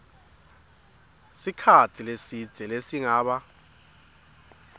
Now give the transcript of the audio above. sikhatsi lesidze lesingaba